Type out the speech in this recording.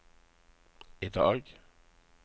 idag